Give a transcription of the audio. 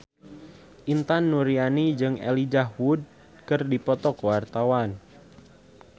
Intan Nuraini jeung Elijah Wood keur dipoto ku wartawan